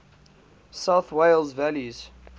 south wales valleys